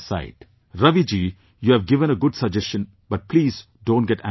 Raviji you have given a good suggestion, but please don't get angry with me